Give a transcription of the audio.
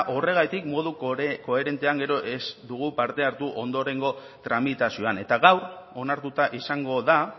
horregatik modu koherentean gero ez dugu parte hartu ondorengo tramitazioan eta gaur onartuta izango da